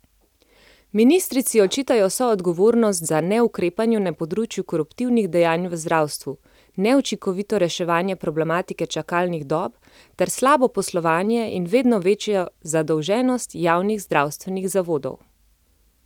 Ministrici očitajo soodgovornost za neukrepanje na področju koruptivnih dejanj v zdravstvu, neučinkovito reševanje problematike čakalnih dob ter slabo poslovanje in vedno večjo zadolženost javnih zdravstvenih zavodov.